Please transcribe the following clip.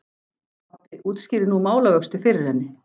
Pabbi útskýrði nú málavöxtu fyrir henni.